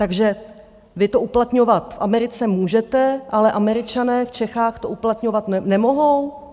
Takže vy to uplatňovat v Americe můžete, ale Američané v Čechách to uplatňovat nemohou?